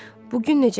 Bu gün necə?